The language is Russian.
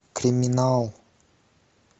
криминал